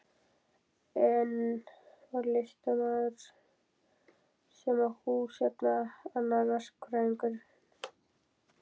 Einn var listamaður sem á hús hérna, annar verkfræðingur.